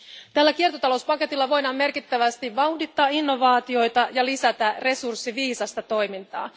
Tällä kiertotalouspaketilla voidaan merkittävästi vauhdittaa innovaatioita ja lisätä resurssiviisasta toimintaa.